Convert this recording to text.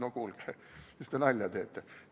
No kuulge, mis te nalja teete!